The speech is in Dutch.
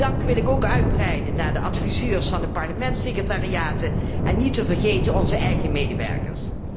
Die dank wil ik ook uitbreiden naar de adviseurs van de parlementssecretariaten en niet te vergeten onze eigen medewerkers.